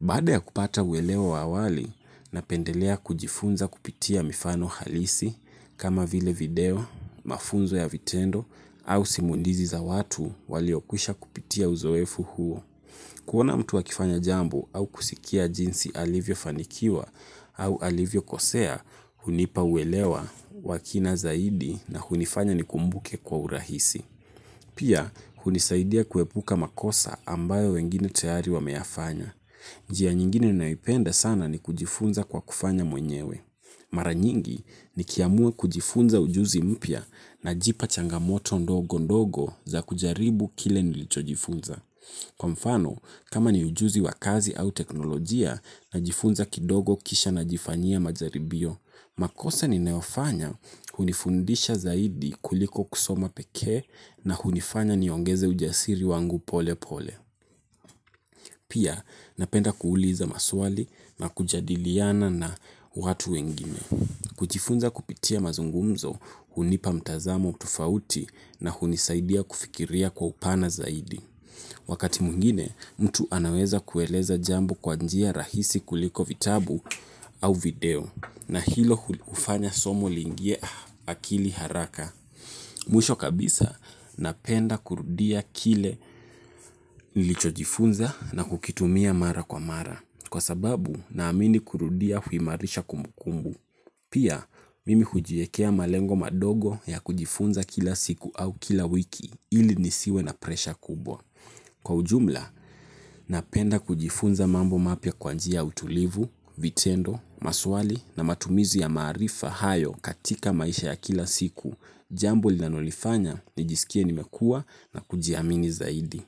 Baada ya kupata uelewa wa awali napendelea kujifunza kupitia mifano halisi kama vile video, mafunzo ya vitendo au simulizi za watu waliokwisha kupitia uzoefu huo. Kuona mtu akifanya jambo au kusikia jinsi alivyofanikiwa au alivyokosea hunipa uelewa wa kina zaidi na hunifanya nikumbuke kwa urahisi. Pia, hunisaidia kuepuka makosa ambayo wengine tayari wameyafanya. Njia nyingine naipenda sana ni kujifunza kwa kufanya mwenyewe. Mara nyingi nikiamua kujifunza ujuzi mpya najipa changamoto ndogo ndogo za kujaribu kile nilichojifunza. Kwa mfano, kama ni ujuzi wa kazi au teknolojia najifunza kidogo kisha najifanyia majaribio, makosa ninayofanya hunifundisha zaidi kuliko kusoma peke na hunifanya niongeze ujasiri wangu pole pole. Pia napenda kuuliza maswali na kujadiliana na watu wengine. Kujifunza kupitia mazungumzo hunipa mtazamo tofauti na hunisaidia kufikiria kwa upana zaidi. Wakati mwingine mtu anaweza kueleza jambo kwa njia rahisi kuliko vitabu au video. Na hilo hufanya somo liingie akili haraka. Mwisho kabisa napenda kurudia kile nilichojifunza na kukitumia mara kwa mara. Kwa sababu naamini kurudia huimarisha kumbukumbu. Pia mimi hujiekea malengo madogo ya kujifunza kila siku au kila wiki ili nisiwe na presha kubwa. Kwa ujumla, napenda kujifunza mambo mapya kwa njia ya utulivu, vitendo, maswali na matumizi ya maarifa hayo katika maisha ya kila siku. Jambo linalonifanya, nijisikie nimekua na kujiamini zaidi.